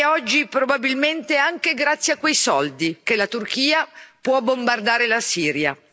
Oggi probabilmente è anche grazie a quei soldi che la Turchia può bombardare la Siria.